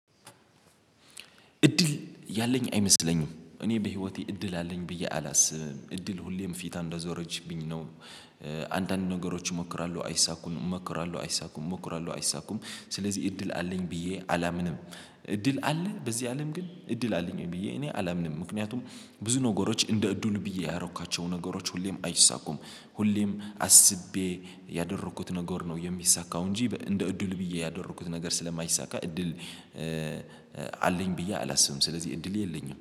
እድል ያለኝ አይመስለኝም እኔ በህይወቴ እድል አለኝ ብዬ አላስብም እድል ሁሌም ፊቷን እንደዞረችብኝ ነው። አንዳንድ ነገሮች እሞክራለሁ አይሳኩም እሞክራለሁ አይሳኩም እሞክራለሁ አይሳኩም ስለዚህ እድል አለኝ ብዬ አላምንም። እድል አለ በዚህ አለም ግን እድል አለኝ ብዬ እኔ አላምንም። ምክንያቱም ብዙ ነገሮች እንደ እድሉ ብዬ ያረኳቸው ነገሮች ሁሌም አይሳኩም። ሁሌም አስቤ ያደረኩት ነገር ነው የሚሳካው እንጂ እንደ እድል ብዬ ያደረኩት ነገር ስለማይሳካ እድል አለኝ ብዬ አላስብም። ስለዚህ እንድል የለኝም